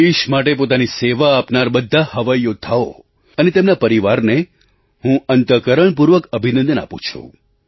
દેશ માટે પોતાની સેવા આપનારા બધા હવાઈ યૌદ્ધાઓ એઆઈઆર વોરિયર્સ અને તેમના પરિવારને હું અંતઃકરણપૂર્વક અભિનંદન આપું છું